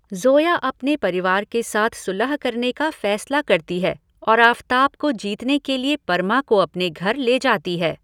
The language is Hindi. ज़ोया अपने परिवार के साथ सुलह करने का फ़ैसला करती है और आफ़ताब को जीतने के लिए परमा को अपने घर ले जाती है।